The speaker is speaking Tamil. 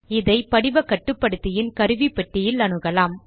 இதை படிவ கட்டுப்படுத்தியின் கருவிப்பெட்டியில் அணுகலாம்